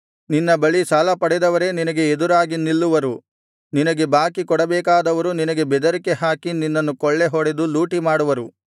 ನಿನ್ನ ಬಳಿ ಸಾಲಪಡೆದವರೇ ನಿನಗೆ ಎದುರಾಗಿ ನಿಲ್ಲುವರು ನಿನಗೆ ಬಾಕಿ ಕೊಡಬೇಕಾದವರು ನಿನಗೆ ಬೆದರಿಕೆ ಹಾಕಿ ನಿನ್ನನ್ನು ಕೊಳ್ಳೆ ಹೊಡೆದು ಲೂಟಿಮಾಡುವರು